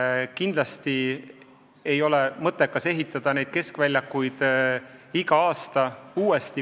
Samas kindlasti ei ole mõttekas ehitada neid keskväljakuid igal aastal uuesti.